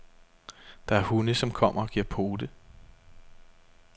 Der er hunde, som kommer og giver pote.